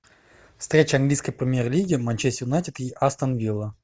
встреча английской премьер лиги манчестер юнайтед и астон вилла